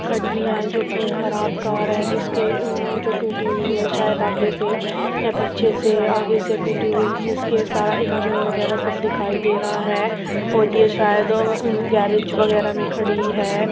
खड़ी हैं जो की एक खराब कार हैं जिसके ऊ-ऊ-ऊ--जो टूटी हुए हैं। शायद आगे से या पीछे से आगे से टूटी हुई हैं। जिसके सारे इंजन वगैरह सब दिखाई दे रहा है और ये शायद गेरेज वगैरह में खडी हैं।